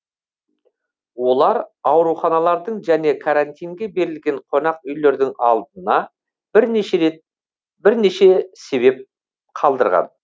олар ауруханалардың және карантинге берілген қонақ үйлердің алдына бірнеше себеп қалдырған